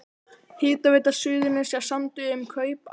Hitaveita Suðurnesja samdi um kaup á